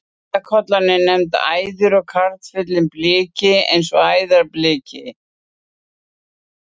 Æðarkollan er nefnd æður en karlfuglinn bliki og æðarbliki.